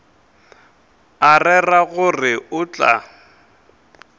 a rera gore o tla